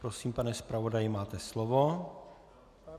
Prosím, pane zpravodaji, máte slovo.